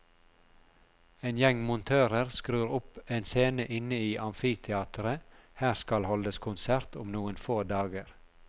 En gjeng montører skrur opp en scene inne i amfiteatret, her skal holdes konsert om noen få dager.